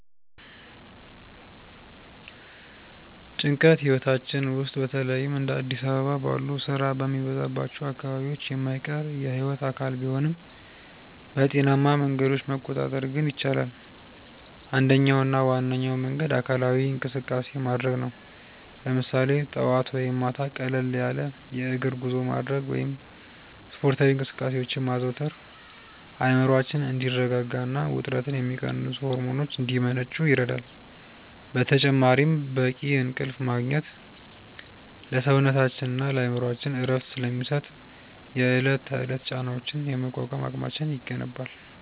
ጭንቀት ህይወታችን ውስጥ በተለይም እንደ አዲስ አበባ ባሉ ስራ በሚበዛባቸው አካባቢዎች የማይቀር የህይወት አካል ቢሆንም፣ በጤናማ መንገዶች መቆጣጠር ግን ይቻላል። አንደኛውና ዋነኛው መንገድ አካላዊ እንቅስቃሴ ማድረግ ነው፤ ለምሳሌ ጠዋት ወይም ማታ ቀለል ያለ የእግር ጉዞ ማድረግ ወይም ስፖርታዊ እንቅስቃሴዎችን ማዘውተር አእምሮአችን እንዲረጋጋና ውጥረትን የሚቀንሱ ሆርሞኖች እንዲመነጩ ይረዳል። በተጨማሪም በቂ እንቅልፍ ማግኘት ለሰውነታችንና ለአእምሮአችን እረፍት ስለሚሰጥ፣ የዕለት ተዕለት ጫናዎችን የመቋቋም አቅማችንን ይገነባል።